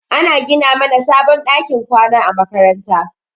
Ana gina mana sabon ɗakin kwana a makaranta.